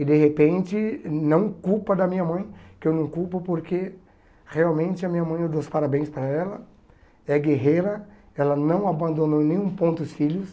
E de repente, não culpa da minha mãe, que eu não culpo porque realmente a minha mãe, eu dou os parabéns para ela, é guerreira, ela não abandonou nenhum ponto os filhos.